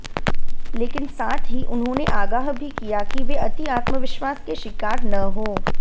लेकिन साथ ही उन्होंने आगाह भी किया कि वे अति आत्मविश्वास के शिकार न हों